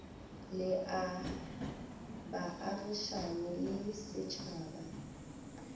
le a baagišane le setšhaba